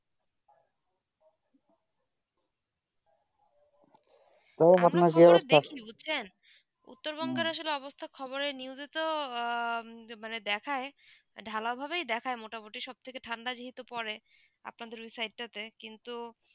আপনার খবর দেখি বুঝছেন উত্তর বংলাদেশে অবস্থা খবরে news তো মানে দেখায়ে ঢালাও ভাব হে দেখায়ে মোটা মোটি সব থেকে থেকে ঠান্ডা জিহিত পরে আপনার দের ওই সাইড টা তে কিন্তু